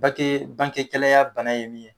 Bake bangegɛlɛya bana ye min ye